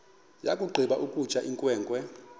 yakugqiba ukutya inkwenkwe